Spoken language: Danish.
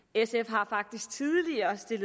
sf har faktisk tidligere